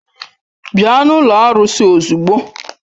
Bịa n'ụlọ arụsị ozugbo!